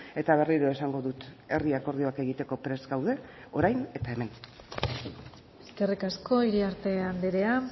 eta berriro esango dut herri akordioak egiteko prest gaude orain eta hemen eskerrik asko iriarte andrea